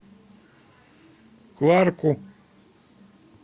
кларку